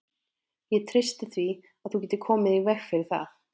Ég treysti því, að þú getir komið í veg fyrir það